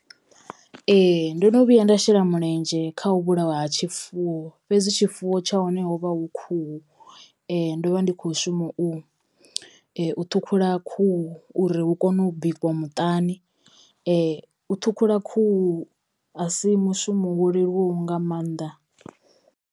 Ee ndo no vhuya nda shela mulenzhe kha u vhulawa ha tshifuwo fhedzi tshifuwo tsha hone ho vha hu khuhu. Ndo vha ndi kho shuma u u ṱhukhula khuhu uri hu kono u bikiwa muṱani. U ṱhukhula khuhu a si mushumo wo leluwaho nga mannḓa.